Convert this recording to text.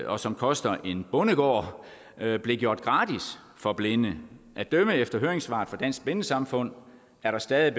og som koster en bondegård blev blev gjort gratis for blinde at dømme efter høringssvaret fra dansk blindesamfund er der stadig